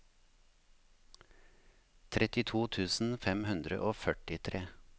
trettito tusen fem hundre og førtitre